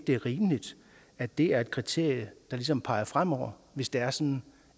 det er rimeligt at det er et kriterie der ligesom peger fremover hvis det er sådan